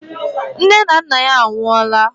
Nne na nna ya anwụọ laa.